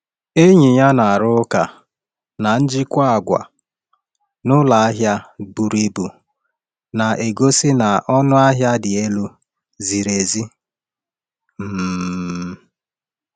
Enyi ya na-arụ ụka na njikwa àgwà n’ụlọ ahịa buru ibu na-egosi na ọnụ ahịa dị elu ziri ezi. um